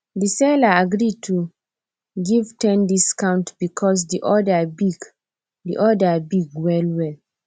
the seller agree give ten discount because the order big the order big well well